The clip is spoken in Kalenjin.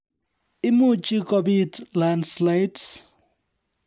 Imuchi kobiit landslides